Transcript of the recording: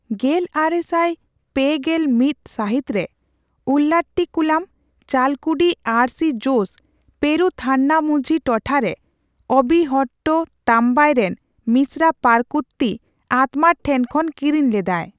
ᱜᱮᱞᱟᱨᱮᱥᱟᱭ ᱯᱩ ᱜᱮᱞ ᱢᱤᱛ ᱥᱟᱹᱦᱤᱛ ᱨᱮ ᱩᱞᱞᱟᱴᱤᱠᱩᱞᱟᱢ, ᱪᱟᱞᱠᱩᱰᱤ ᱟᱨ ᱥᱤ ᱡᱳᱥ ᱯᱮᱨᱩᱵᱷᱟᱱᱱᱟᱢᱩᱡᱷᱤ ᱴᱚᱴᱷᱟ ᱨᱮ ᱚᱵᱤᱱᱦᱚᱴᱴ ᱛᱟᱢᱵᱟᱭ ᱨᱮᱱ ᱢᱤᱥᱨᱟ ᱯᱟᱨᱠᱩᱛᱛᱤ ᱟᱛᱢᱟᱨ ᱴᱷᱮᱱ ᱠᱷᱚᱱ ᱠᱤᱨᱤᱧ ᱞᱮᱫᱟᱭ ᱾